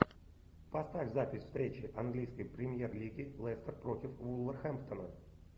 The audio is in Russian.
поставь запись встречи английской премьер лиги лестер против вулверхэмптона